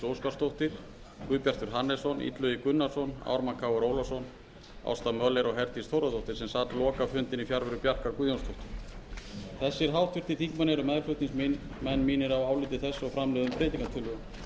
óskarsdóttir guðbjartur hannesson illugi gunnarsson ármann krónu ólafsson ásta möller og herdís þórðardóttir sem sat lokafundinn í fjarveru bjarkar guðjónsdóttur þessir háttvirtir þingmenn eru meðflutningsmenn mínir á áliti þessu og framlögðum breytingartillögum